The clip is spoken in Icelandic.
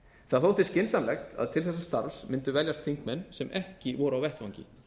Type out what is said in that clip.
það þótti skynsamlegt að til þessa starfs mundu veljast þingmenn sem ekki voru á vettvangi